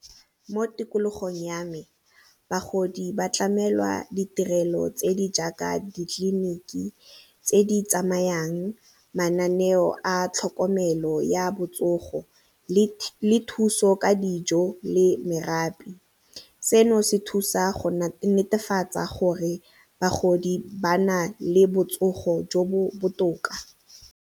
Mo tikologong ya me, bagodi ba tlamelwa ditirelo tse di jaaka ditleliniki tse di tsamayang, mananeo a tlhokomelo ya botsogo le thuso ka dijo le . Seno se thusa go netefatsa gore bagodi ba na le botsogo jo bo botoka.